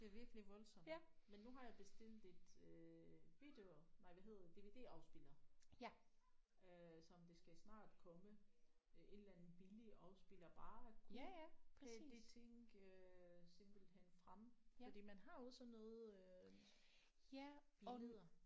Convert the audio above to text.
Det er virkelig voldsomt men nu har jeg bestilt et øh video nej hvad hedder DVD-afspiller øh som det skal snart komme øh et eller andet billig afspiller bare kun til de ting øh simpelthen frem fordi man har jo sådan noget øh billeder